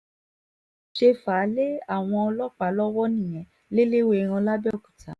bí wọ́n ṣe fà á lé àwọn ọlọ́pàá lọ́wọ́ nìyẹn lẹ́lẹ́wẹ́ẹ́ran lápẹ̀ọ́kúta